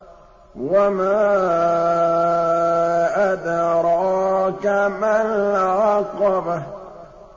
وَمَا أَدْرَاكَ مَا الْعَقَبَةُ